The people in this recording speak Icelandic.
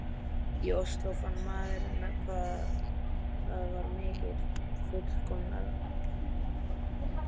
í Osló, fann maður hvað það var miklu fullkomnara.